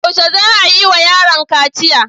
Yaushe za a yi wa yaron kaciya?